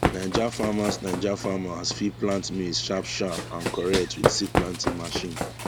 9ja farmers 9ja farmers fit plant maize sharp sharp and correct with seed planting machine